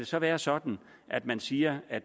så være sådan at man siger at